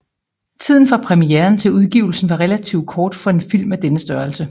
Tiden fra premieren til udgivelsen var relativt kort for en film af denne størrelse